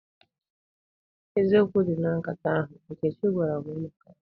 Eziokwu dị na nkata ahụ Nkechi gwara m maka ya.